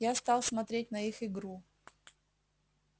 я стал смотреть на их игру